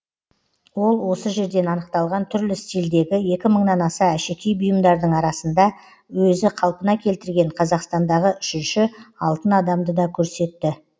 ол осы жерден анықталған түрлі стильдегі екі мыңнан аса әшекей бұйымдардың арқасында өзі қалпына келтірген қазақстандағы үшінші алтын адамды да көрсетті